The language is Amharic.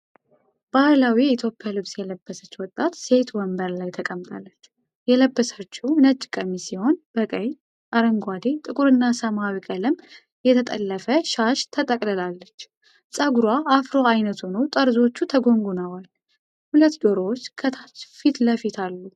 ባህላዊ የኢትዮጵያ ልብስ የለበሰች ወጣት ሴት ወንበር ላይ ተቀምጣለች። የለበሰችው ነጭ ቀሚስ ሲሆን በቀይ፣ አረንጓዴ፣ ጥቁርና ሰማያዊ ቀለም የተጠለፈ ሻሽ ተጠቅልላለች። ጸጉሯ አፍሮ ዓይነት ሆኖ ጠርዞቹ ተጎንጉነዋል። ሁለት ዶሮዎች ከታች ፊት ለፊት አሉ።